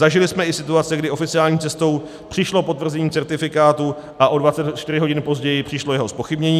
Zažili jsme i situace, kdy oficiální cestou přišlo potvrzení certifikátu a o 24 hodin později přišlo jeho zpochybnění.